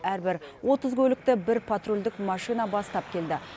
әрбір отыз көлікті бір патрульдік машина бастап келді